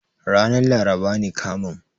Ranar laraba ne kamun.